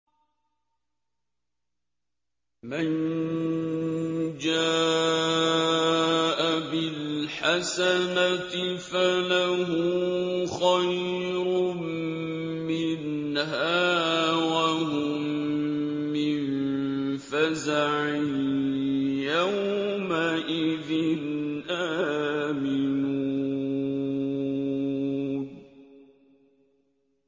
مَن جَاءَ بِالْحَسَنَةِ فَلَهُ خَيْرٌ مِّنْهَا وَهُم مِّن فَزَعٍ يَوْمَئِذٍ آمِنُونَ